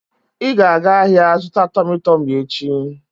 Ị ga-aga ahịa zụta Tọmị Tọmị echi!